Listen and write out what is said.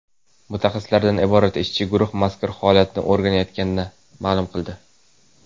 mutaxassislardan iborat ishchi guruh mazkur holatni o‘rganayotganini ma’lum qildi.